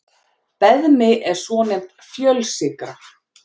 Beðmi er svonefnd fjölsykra.